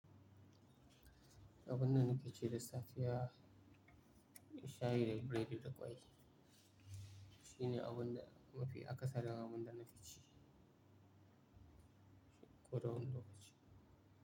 Abin da na fi ci da safi ya shayi da biredi da ƙwai. Shi ne abin da mafi akasari abin da na fi ci, ko da wani lokaci.